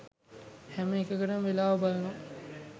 හැම එකකටම වෙලාව බලනවා